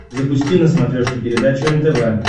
запусти на смотрешке передачу нтв